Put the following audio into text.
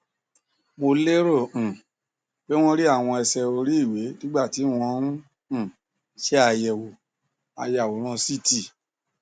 mo lérò um pé wón rí àwọn ẹsẹ oríiwe nígbà tí wọn ń um ṣe àyẹwò ayàwòrán ct